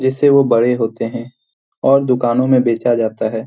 जैसे वो बड़े होते है और दुकानो में बेचा जाता है।